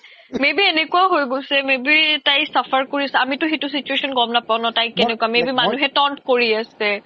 may be এনেকুৱাও may be তাই suffer কৰি আছে আমি তো সেইতো situation গ্'ম নাপাও ন তাইক may be মানুহে taunt কৰি আছে